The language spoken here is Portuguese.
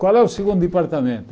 Qual é o segundo departamento?